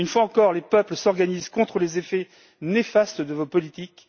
Une fois encore, les peuples s'organisent contre les effets néfastes de vos politiques.